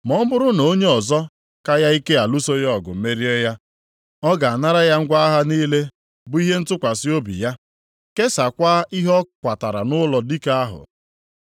Ma ọ bụrụ na onye ọzọ ka ya ike alụso ya ọgụ merie ya, ọ ga-anara ya ngwa agha niile bụ ihe ntụkwasị obi ya, kesakwaa ihe ọ kwatara nʼụlọ dike ahụ.